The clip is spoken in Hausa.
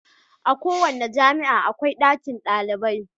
A kowace jami'a akwai ɗakin kwanan dalibai.